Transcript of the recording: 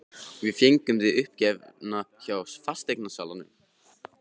Við fengum þig uppgefna hjá fasteignasalanum.